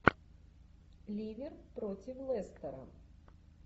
ливер против лестера